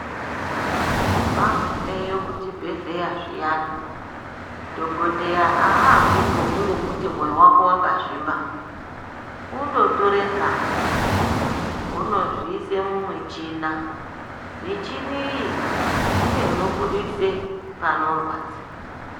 Mwagumeyo kuchibhedhleya zviyani, dhokodheya aambi ngekungokuti mwoyo wako wakazvimba, unototore ngazi, onozviise mumuchhina, michini iyi ndiyo inobudise panorwadza.